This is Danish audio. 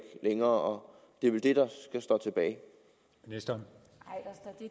længere det er vel det der står